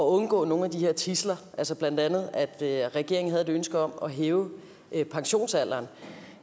undgå nogle af de her tidsler blandt andet havde regeringen et ønske om at hæve pensionsalderen og